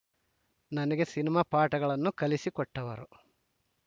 ನನಗೆ ಸಿನಿಮಾ ಪಾಠಗಳನ್ನು ಕಲಿಸಿಕೊಟ್ಟವರು